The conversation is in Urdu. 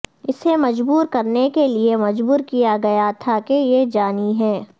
اسے مجبور کرنے کے لئے مجبور کیا گیا تھا کہ یہ جانی ہے